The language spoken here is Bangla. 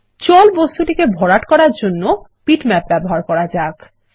জল বস্তুটিকে ভরাট করার জন্য বিটম্যাপ ব্যবহার করা যাক